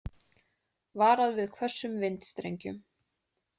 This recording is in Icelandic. Varað við hvössum vindstrengjum